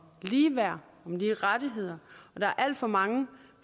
ligeværd om lige rettigheder og der er alt for mange